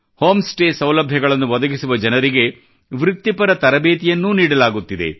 home stay ಸೌಲಭ್ಯಗಳನ್ನು ಒದಗಿಸುವ ಜನರಿಗೆ ವೃತ್ತಿಪರ ತರಬೇತಿಯನ್ನೂ ನೀಡಲಾಗುತ್ತಿದೆ